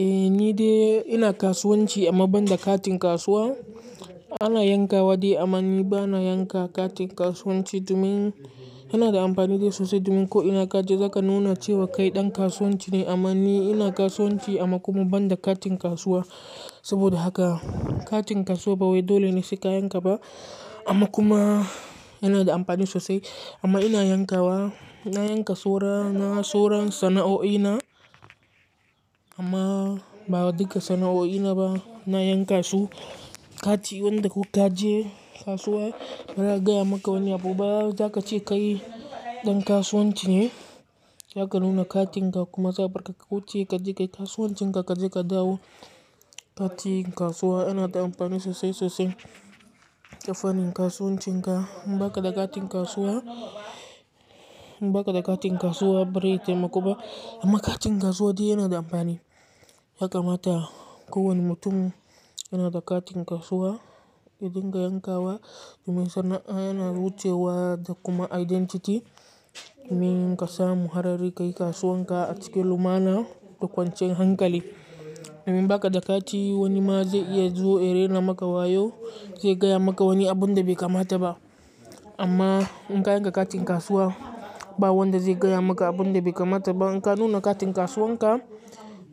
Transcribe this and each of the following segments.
Eh ni dai ina kasuwanci amma banda katin kasuwa. Ana yanka wa dai amman ni bana yanka katin kasuwanci domin yana da amfani da sosai domin ko ina ka je za ka nuna cewa kai ɗan kasuwanci ne. Amma ni ina kasuwanci amma kuma banda katin kasuwa. Saboda haka katin kasuwa ba wai dole ne su ka yanka ba amma kuma yana da amfani sosai. Amma ina yanka wa, na yanka soro na soro sana'o'i na amma ba wadukkan sana'o'i na ba na yanka su. Kati wanda kuk ka je kasuwa ya gaya maka wani abu ba. Zaka ci kai ɗan kasuwanci ne, zaka nuna katin ka kuma za a bar ka ka wuce ka ji kai kasuwancin ka kaje ka dawo. Katin kasuwa yana da amfani sosai sosai ga fannin kasuwancin ka. In baka da katin kasuwa, in baka da katin kasuwa bari tayi ma kuba amma katin kasuwa dai yana da amfani. Yakammata ko wani mutum yana da katin kasuwa yadinga yanka wa domin sana'a yana wucewa da kuma identity domin ka samu harari kai kasuwan ka a cikin lumana da kwancan hankali. Domin baka da kati wani ma zai iya zuwa ya rena maka wayo zai gaya maka wani abun da bai kamata ba. Amma in ka yanka katin kasuwa ba wanda zai gaya maka abun da bai kamata ba. In ka nuna katin kasuwan ka,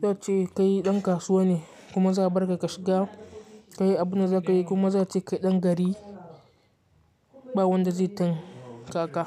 za ce kai ɗan kasuwa ne kuma za a bar ka ka shiga ka yi abunda za ka yi kuma za su ci kai ɗan gari ba wanda zai tanka ka.